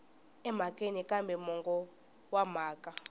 emhakeni kambe mongo wa mhaka